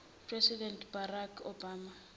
president barack obama